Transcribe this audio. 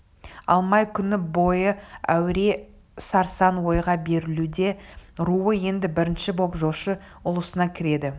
алмай күні бойы әуре-сарсаң ойға берілуде руы енді бірінші боп жошы ұлысына кіреді